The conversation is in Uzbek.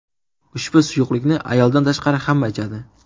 Ushbu suyuqlikni ayoldan tashqari hamma ichadi.